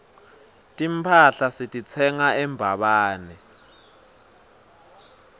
timphahla sititsenga embabane